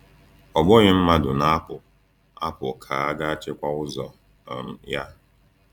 Ọ bụghị mmadụ na-apụ apụ ka ga-achịkwa ụzọ um ya.